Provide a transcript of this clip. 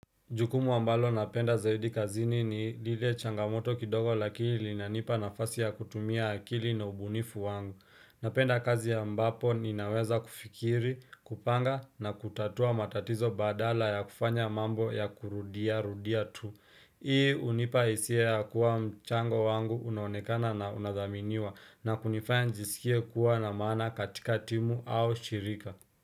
Jukumu ambalo napenda zaidi kazini ni lile changamoto kidogo lakili inanipa nafasi ya kutumia akili na ubunifu wangu. Napenda kazi ya ambapo ninaweza kufikiri, kupanga na kutatua matatizo badala ya kufanya mambo ya kurudia rudia tu. Hii unipa isia ya kuwa mchango wangu unonekana na unathaminiwa na kunifaya njisikie kuwa na mana katika timu au shirika.